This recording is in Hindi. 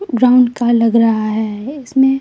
ग्राउंड का लग रहा है इसमे--